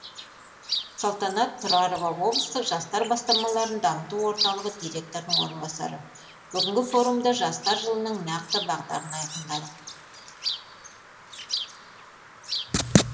салтанат тұрарова облыстық жастар бастамаларын дамыту орталығы директорының орынбасары бүгінгі форумда жастар жылының нақты бағдарын айқындадық